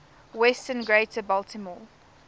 western greater baltimore